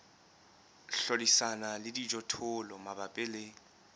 hlodisana le dijothollo mabapi le